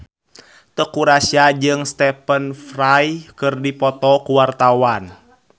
Teuku Rassya jeung Stephen Fry keur dipoto ku wartawan